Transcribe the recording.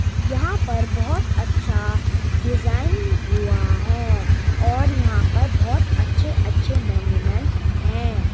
यहाँ पर बोहोत अच्छा डिजाईन हुआ है और यहाँ पर बोहोत अच्छे अच्छे मोनयूमेंट हैं।